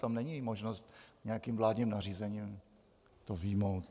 Tam není možnost nějakým vládním nařízením to vyjmout.